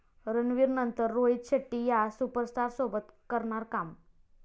रणवीरनंतर रोहित शेट्टी 'या' सुपरस्टारसोबत करणार काम